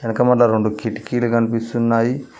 ఇంక మల్ల రెండు కిటికీలు కనిపిస్తున్నాయి.